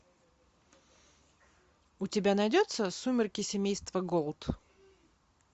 у тебя найдется сумерки семейства голд